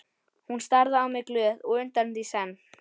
Hún starði á mig glöð og undrandi í senn.